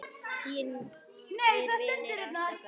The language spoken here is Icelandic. Þínir vinir, Ásta og Garðar.